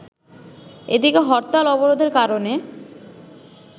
এদিকে হরতাল-অবরোধের কারণে